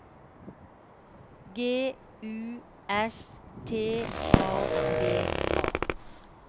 G U S T A V A